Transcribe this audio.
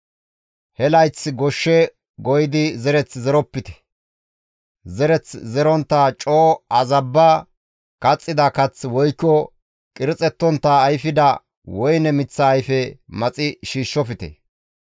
He layth goshshe goyidi zereth zeropite; zereth zerontta coo azabba kaxxida kath woykko qirxettontta ayfida woyne miththa ayfe maxi shiishshofte.